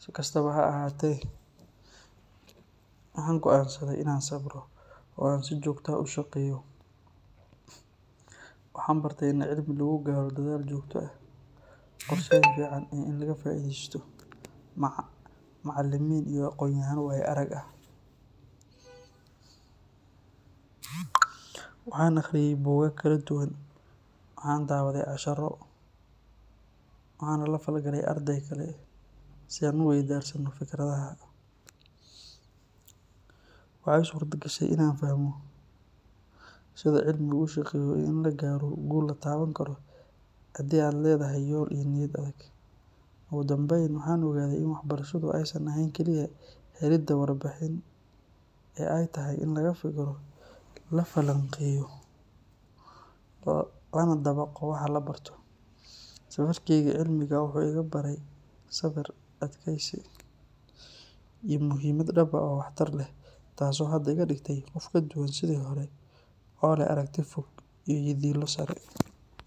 Si kastaba ha ahaatee, waxaan go’aansaday inaan sabro oo aan si joogto ah u shaqeeyo. Waxaan bartay in cilmi lagu gaaro dadaal joogto ah, qorsheyn fiican iyo in laga faa’iidaysto macallimiin iyo aqoonyahanno waayo arag ah. Waxaan akhriyay buugaag kala duwan, waxaan daawaday casharro, waxaanan la falgalay arday kale si aan is weydaarsanno fikradaha. Waxa ii suurto gashay inaan fahmo sida cilmu u shaqeeyo iyo in la gaaro guul la taaban karo haddii aad leedahay yool iyo niyad adag. Ugu dambeyn, waxaan ogaaday in waxbarashadu aysan ahayn kaliya helidda warbixin ee ay tahay in laga fikiro, la falanqeeyo lana dabaqo waxa la barto. Safarkayga cilmiga ah wuxuu igu baray sabir, adkaysi iyo muhiimada waxbarasho dhab ah oo waxtar leh, taas oo hadda iga dhigtay qof ka duwan sidii hore oo leh aragti fog iyo yididiilo sare.